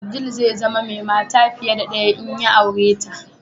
Abdul zai zama mai mata fiye da ɗaya in ya aure ta.